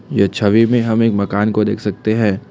यह छवि में हम एक मकान को देख सकते हैं।